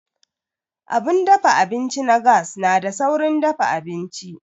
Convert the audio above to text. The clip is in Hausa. Abun dafa abinci na gas na da saurin dafa abinci.